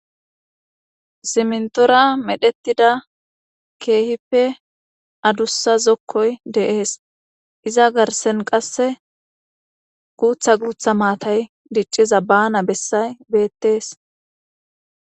simntora medhettida keehippe adussa zokkoy deees iza garsen qasse guutha guutha maatay dicciza bana bessay beettees